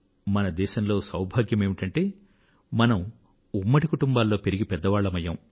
మన దేశంలో సౌభాగ్యమేమిటంటే మనం ఉమ్మడి కుటుంబాలలో పెరిగి పెద్దవాళ్లం అయ్యాం